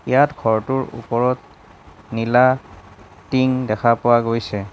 ইয়াত ঘৰটোৰ ওপৰত নীলা টিং দেখা পোৱা গৈছে।